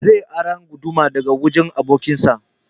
Zai ara guduma daga wajen abokin sa